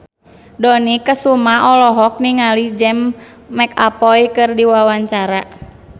Dony Kesuma olohok ningali James McAvoy keur diwawancara